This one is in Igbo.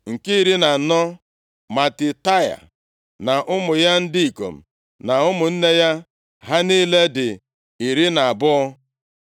Nke iri na anọ, Matitaia na ụmụ ya ndị ikom na ụmụnne ya. Ha niile dị iri na abụọ (12).